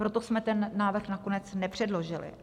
Proto jsme ten návrh nakonec nepředložili.